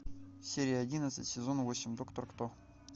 серия одиннадцать сезон восемь доктор кто